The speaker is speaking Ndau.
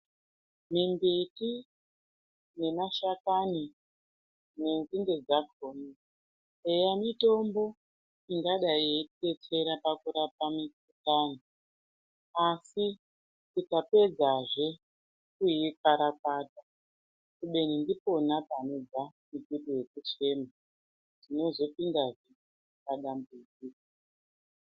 Mimbiti nemashakani nenzinde dzakona eya mitombo ingadai yeidetsera pakurapa mikuhlani asi tikapedzazve kuikarakadza kubeni ndipona panobve mutuso wekuchena tinozopindahe padambudziko.